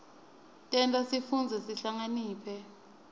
tenta sifundze sihlakaniphe